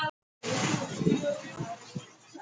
Á þessari stundu er einmitt gömul kona við leiðið.